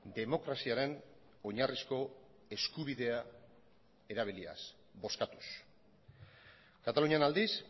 demokraziaren oinarrizko eskubidea erabiliaz bozkatuz katalunian aldiz